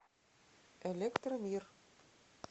электромир